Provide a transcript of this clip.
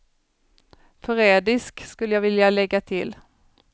Förrädisk, skulle jag vilja lägga till.